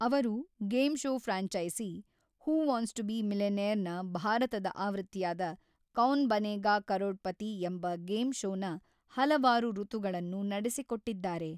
ಅವರು game show franchise, who wants to be millionaire ನ ಭಾರತದ ಆವೃತ್ತಿಯಾದ ಕೌನ್ ಬನೇಗಾ ಕರೋಡ್‌ಪತಿ ಎಂಬ ಗೇಮ್ ಶೋನ ಹಲವಾರು ಋತುಗಳನ್ನು ನಡೆಸಿಕೊಟ್ಟಿದ್ದಾರೆ.